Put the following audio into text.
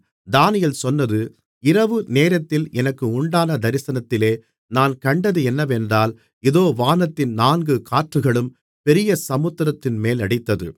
தானியேல் சொன்னது இரவு நேரத்தில் எனக்கு உண்டான தரிசனத்திலே நான் கண்டது என்னவென்றால் இதோ வானத்தின் நான்கு காற்றுகளும் பெரிய சமுத்திரத்தின்மேல் அடித்தது